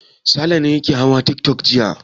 Sale ne yake hawa tiktok jiya.